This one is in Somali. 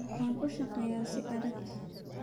Waxaan u shaqeeyaa si adag.